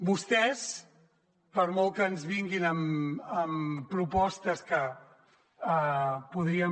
vostès per molt que ens vinguin amb propostes que podríem